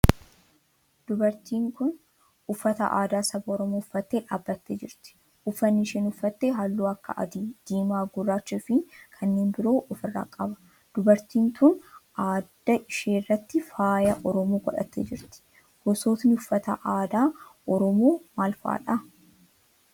Dubartiin tun uffata aadaa saba oromoo uffattee dhaabbattee jirti. Uffanni isheen uffatte halluu akka adii, diimaa, guraachaa fi kanneen biroo of irraa qaba. Dubartiin tun adda ishee irratti faaya oromoo godhattee jirti. Gosootni uffata aadaa oromoo maal fa'aadha?